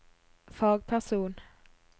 fagperson